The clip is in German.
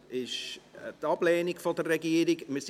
Es liegt ein Ablehnungsantrag der Regierung vor.